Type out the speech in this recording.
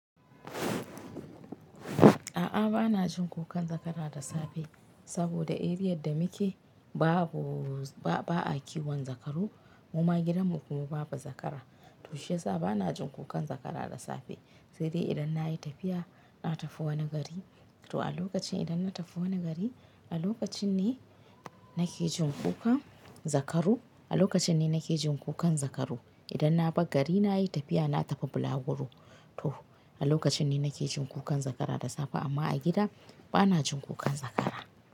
A'a bana jin kukan zakara da safe saboda Area da muke babu ba a kiwon zakaru. Muma gidan mu kuma babu zakara. To shiyasa bana jin kukan zakara da safe. Sai dai idan na yi tafiya, na tafi wani gari. To a lokacin idan na tafi wani gari, a lokacin ne nake jin kukan zakaru. A lokacin ne nake jin kukan zakaru. Idan na bar gari na yi tafiya na tafi bulaguru, to a lokacin ne nake jin kukan zakara da safe amma a gida bana jin kukan zakara.